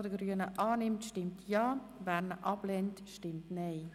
Wer diesen annimmt, stimmt Ja, wer diesen ablehnt, stimmt Nein.